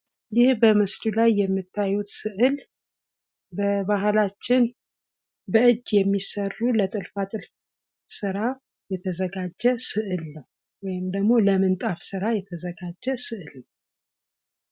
ይህ በምስሉ ላይ የምታዩት ስዕል በባህላችን በእጅ የሚሰሩ ለትርፋትርፍ ስራ የተዘጋጁ ስዕል ነው። ወይም ደግሞ ለምንጣፍ ስራ የተዘጋጀ ስዕል ነው።